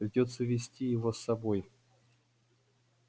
придётся увести его с собой